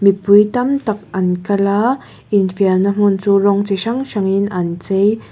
mipui tam tak an kal a infiamna hmun chu rawng chi hrang hrangin an chei--